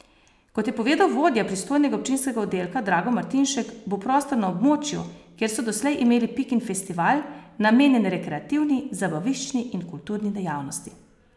Kot je povedal vodja pristojnega občinskega oddelka Drago Martinšek, bo prostor na območju, kjer so doslej imeli Pikin festival, namenjen rekreativni, zabaviščni in kulturni dejavnosti.